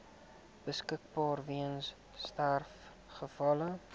beskikbaar weens sterfgevalle